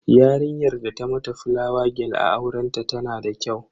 Yarinyar da ta mata fulawa gel a aurenta tana da kyau.